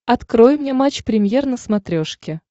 открой мне матч премьер на смотрешке